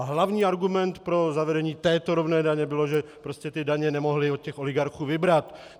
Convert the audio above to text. A hlavní argument pro zavedení této rovné daně byl, že prostě ty daně nemohli od těch oligarchů vybrat.